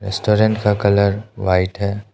Restaurant का colour white है।